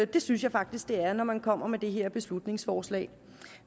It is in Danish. det synes jeg faktisk det er når man kommer med det her beslutningsforslag